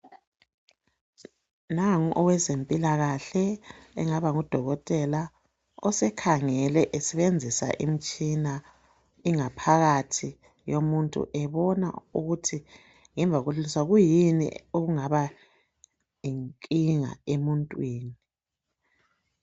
Nangu owezempilakahle ongaba ngu dokotela osekhangele esebenzisa imitshina ingaphakathi yomuntu ebona ukuthi kuyini okungaba yinkinga emuntwini .